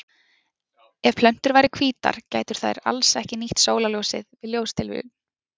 Ef plöntur væru hvítar gætu þær alls ekki nýtt sólarljósið við ljóstillífun.